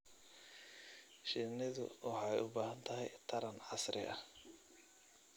Shinnidu waxay u baahan tahay taran casri ah.